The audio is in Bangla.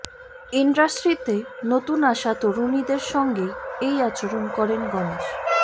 ইন্ডাস্ট্রিতে নতুন আসা তরুণীদের সঙ্গেই এই আচরণ করেন গনেশ